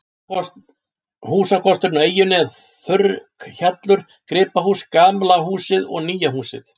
Húsakosturinn á eyjunni er þurrkhjallur, gripahús, gamla húsið og nýja húsið.